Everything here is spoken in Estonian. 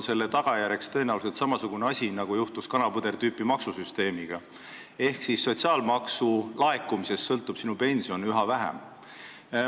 Selle tagajärjeks on tõenäoliselt samasugune asi nagu kanapõdra tüüpi maksusüsteem ehk sinu pension sõltub sotsiaalmaksu laekumisest üha vähem.